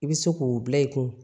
I bɛ se k'o bila i kun